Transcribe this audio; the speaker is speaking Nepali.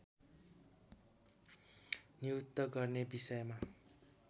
नियुक्त गर्ने विषयमा